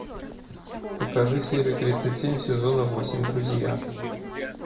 покажи серию тридцать семь сезона восемь друзья